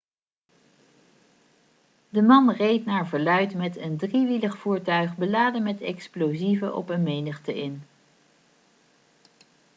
de man reed naar verluid met een driewielig voertuig beladen met explosieven op een menigte in